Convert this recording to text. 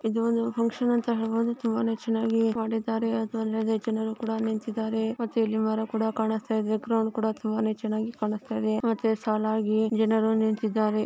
ಇದು ಒಂದು ಫಂಕ್ಷನ್ ಅಂತ ಹೇಳಬಹುದು ತುಂಬಾ ಚೆನ್ನಾಗಿ ಮಾಡಿದ್ದಾರೆ ಅದು ಅಲ್ಲದೆ ಜನರು ಕೂಡ ನಿಂತಿದ್ದಾರೆ ಮತ್ತೆಅಲ್ಲಿ ಮರ ಕೂಡಾ ಕಾಣಸತ್ತಾಯಿದೆ ಕ್ರೌಡ್ ಕೂಡ ತುಂಬಾ ಚೆನ್ನಾಗಿ ಕಾಣಸತ್ತಾಯಿದೆ ಮತ್ತೆ ಸಾಲಾಗಿ ಜನರು ನಿಂತಿದ್ದಾರೆ.